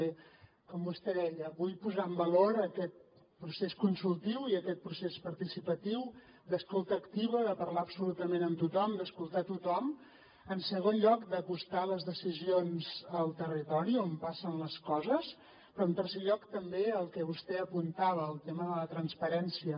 bé com vostè deia vull posar en valor aquest procés consultiu i aquest procés participatiu d’escolta activa de parlar absolutament amb tothom d’escoltar tothom en segon lloc d’acostar les decisions al territori on passen les coses però en tercer lloc també el que vostè apuntava el tema de la transparència